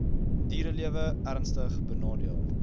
dierelewe ernstig benadeel